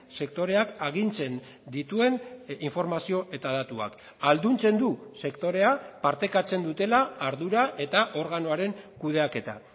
sektoreak agintzen dituen informazio eta datuak ahalduntzen du sektorea partekatzen dutela ardura eta organoaren kudeaketa